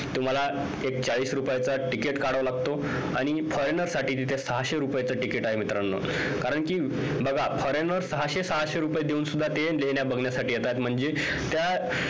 तुम्हाला एक चाळीस रुपयाचा ticket काढावा लागतो आणि foreigner साठी तिथे सहाशे रुपये ticket आहे मित्रानो कारण कि बघा foreigner सहाशे सहाशे रुपये देऊन सुद्धा ते लेण्या बघण्यासाठी येत्यात म्हणजे त्या